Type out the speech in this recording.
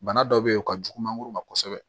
Bana dɔ bɛ yen o ka jugu mangoro ma kosɛbɛ